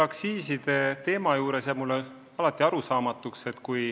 Aktsiiside teema juures jääb mulle üks asi arusaamatuks.